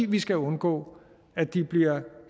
vi skal undgå at de bliver